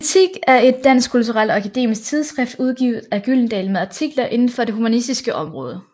Kritik er et dansk kulturelt og akademisk tidsskrift udgivet af Gyldendal med artikler inden for det humanistiske område